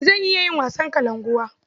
Zan iya yin wasan kalankuwa.